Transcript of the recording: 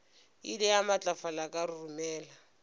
ile ya matlafala ka roromela